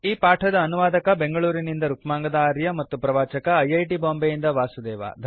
ಈ ಪಾಠದ ಅನುವಾದಕ ಬೆಂಗಳೂರಿನಿಂದ ರುಕ್ಮಾಂಗದ ಆರ್ಯ ಹಾಗೂ ಪ್ರವಾಚಕ ಐ ಐ ಟಿ ಬಾಂಬೆಯಿಂದ ವಾಸುದೇವ